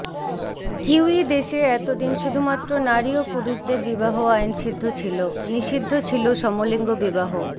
kiwi দেশে এত দিন শুধুমাত্র নারী ও পুরুষের বিবাহ আইনসিদ্ধ ছিল নিষিদ্ধ ছিল সমলিঙ্গ বিবাহ